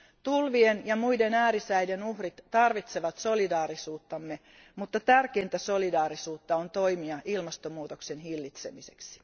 Tulvien ja muiden äärisäiden uhrit tarvitsevat solidaarisuuttamme, mutta tärkeintä solidaarisuutta on toimia ilmastonmuutoksen hillitsemiseksi.